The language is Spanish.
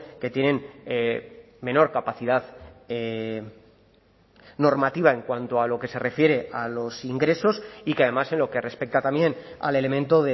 que tienen menor capacidad normativa en cuanto a lo que se refiere a los ingresos y que además en lo que respecta también al elemento